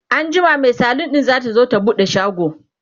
anjima Mai salon ɗin zatazo ta buɗe shago